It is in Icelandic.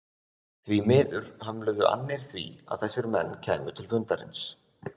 Því miður hömluðu annir því að þessir menn kæmu til fundarins.